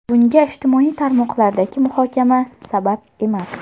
Bunga ijtimoiy tarmoqlardagi muhokama sabab emas.